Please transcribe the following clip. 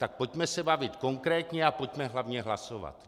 Tak pojďme se bavit konkrétně a pojďme hlavně hlasovat.